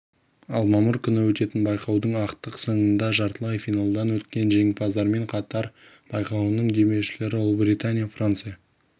ал мамыр күні өтетін байқаудың ақтық сынында жартылай финалдан өткен жеңімпаздармен қатар байқауының демеушілері ұлыбритания франция